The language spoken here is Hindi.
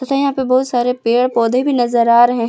तथा यहां पे बहुत सारे पेड़ पौधे भी नजर आ रहे हैं।